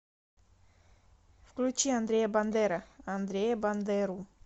включи андрея бандера андрея бандеру